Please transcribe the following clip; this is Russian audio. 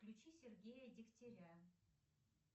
включи сергея дегтяря